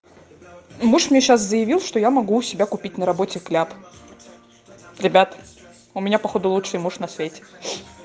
муж мне сейчас заявил что я могу у себя купить на работе кляп ребят у меня походу лучший муж на свете